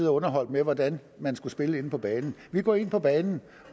og underholdt med hvordan man skulle spille inde på banen vi går ind på banen